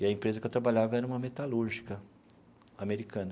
E a empresa que eu trabalhava era uma metalúrgica americana.